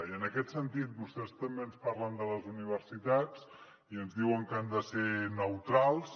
i en aquest sentit vostès també ens parlen de les universitats i ens diuen que han de ser neutrals